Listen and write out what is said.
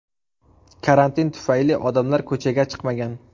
Karantin tufayli odamlar ko‘chaga chiqmagan.